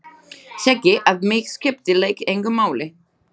Segi að mig skipti lykt engu máli.